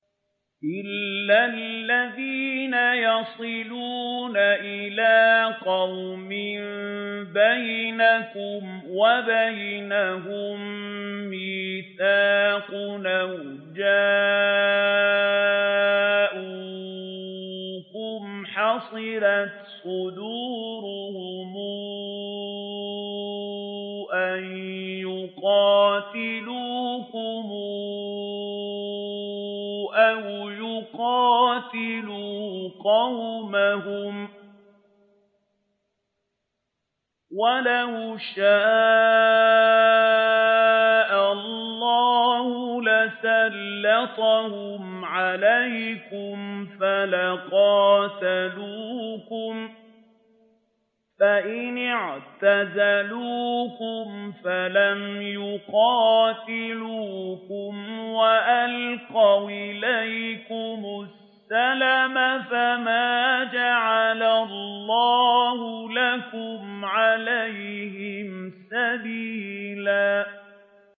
إِلَّا الَّذِينَ يَصِلُونَ إِلَىٰ قَوْمٍ بَيْنَكُمْ وَبَيْنَهُم مِّيثَاقٌ أَوْ جَاءُوكُمْ حَصِرَتْ صُدُورُهُمْ أَن يُقَاتِلُوكُمْ أَوْ يُقَاتِلُوا قَوْمَهُمْ ۚ وَلَوْ شَاءَ اللَّهُ لَسَلَّطَهُمْ عَلَيْكُمْ فَلَقَاتَلُوكُمْ ۚ فَإِنِ اعْتَزَلُوكُمْ فَلَمْ يُقَاتِلُوكُمْ وَأَلْقَوْا إِلَيْكُمُ السَّلَمَ فَمَا جَعَلَ اللَّهُ لَكُمْ عَلَيْهِمْ سَبِيلًا